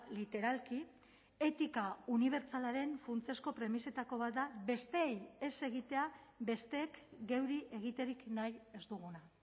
literalki etika unibertsalaren funtsezko premisetako bat da besteei ez egitea besteek geuri egiterik nahi ez duguna